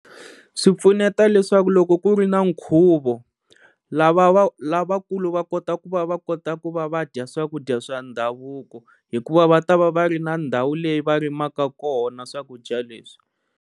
Swi pfuneta leswaku loko ku ri na nkhuvo lava va lavakulu va kota ku va va kota ku va va dya swakudya swa ndhavuko hikuva va ta va va ri na ndhawu leyi va rimaka kona swakudya leswi.